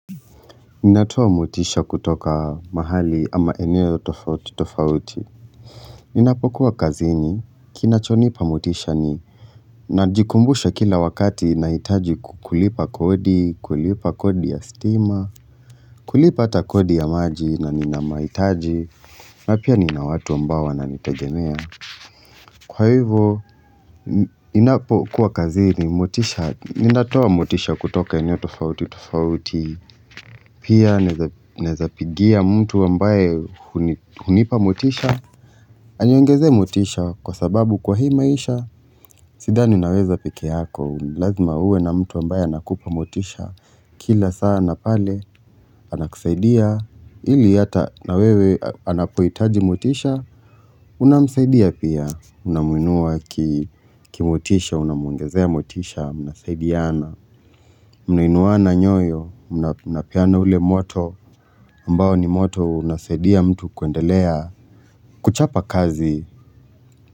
Ninatoa motisha kutoka mahali ama eneo tofauti tofauti Ninapokuwa kazini, kinachonipa motisha ni Najikumbusha kila wakati ninahitaji kulipa kodi, kulipa kodi ya stima kulipa ata kodi ya maji na nina mahitaji na pia nina watu ambao wananitagemea Kwa hivyo, ninapokuwa kazini, motisha Ninatoa motisha kutoka eneo tofauti tofauti Pia naeza pigia mtu ambaye hunipa motisha Aniongezee motisha kwa sababu kwa hii maisha shida ni unaweza pekee yako Lazima uwe na mtu ambaye anakupa motisha Kila sana na pale anakusaidia ili hata na wewe anapoitaji motisha Unamusaidia pia Unamuinua kimotisha Unamuongezea motisha Unasaidiana Mnainuana nyoyo mnapeana ule moto ambao ni moto unasaidia mtu kuendelea kuchapa kazi.